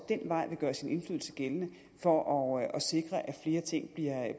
den vej vil gøre sin indflydelse gældende for at sikre at flere ting